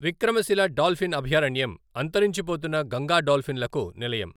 Vikramashila dolphin అభయారణ్యం అంతరించిపోతున్న గంగా డాల్ఫిన్లకు నిలయం.